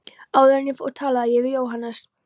Áður en ég fór talaði ég við Jóhannes